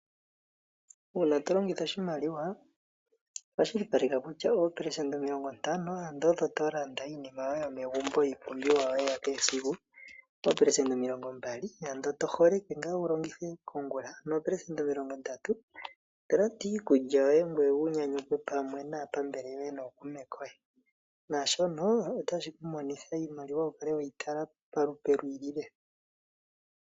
Uuna tolongitha oshimaliwa kwashilipaleka kutya 50%, odho to landa iinima yoye yomegumbo, iipumbiwa yoye ya kehe esiku, dho 20% oto holeke nga wu longithe mongula, no 30% oto landa iikulya yoye, ngoye wu nyanyukwe pamwe naapambele yoye nokuume koye, shono otashi ku monitha iimaliwa wukale weyi tala molupe lwiilile.